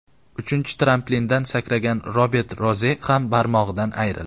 Uchinchi tramplindan sakragan Robert Rooze ham barmog‘idan ayrildi.